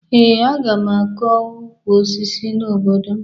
Ee, aga m akọ ukwu osisi n'obodo m